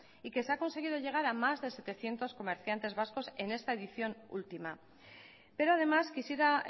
y que se ha conseguido llegar a más de setecientos comerciantes vascos en esta edición última pero además quisiera